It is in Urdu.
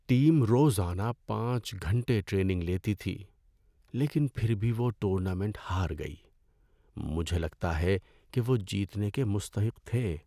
ٹیم روزانہ پانچ گھنٹے ٹریننگ لیتی تھی لیکن پھر بھی وہ ٹورنامنٹ ہار گئی۔ مجھے لگتا ہے کہ وہ جیتنے کے مستحق تھے۔